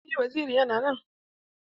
Eh waziri yana nan.